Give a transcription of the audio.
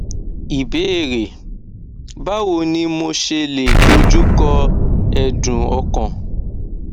ìbéèrè báwo ni mo ṣe lè doju ko edun okan